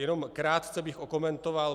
Jenom krátce bych okomentoval.